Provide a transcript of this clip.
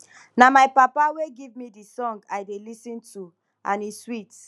na my papa wey give me the song i dey lis ten to and e sweet